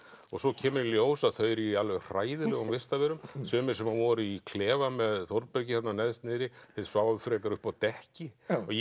og svo kemur í ljós að þau eru í alveg hræðilegum vistarverum sumir sem voru í klefa með Þórbergi þarna neðst niðri þeir sváfu frekar uppi á dekki